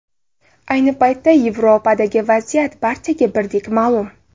Ayni paytda Yevropadagi vaziyat barchaga birdek ma’lum.